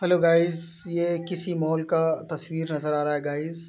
Hello guys ये किसी mall का तस्वीर नज़र आ रहा है गाइस ।